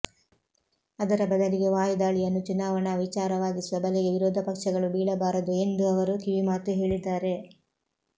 ಅದರ ಬದಲಿಗೆ ವಾಯುದಾಳಿಯನ್ನು ಚುನಾವಣಾ ವಿಚಾರವಾಗಿಸುವ ಬಲೆಗೆ ವಿರೋಧ ಪಕ್ಷಗಳು ಬೀಳಬಾರದು ಎಂದು ಅವರು ಕಿವಿಮಾತು ಹೇಳಿದ್ದಾರೆ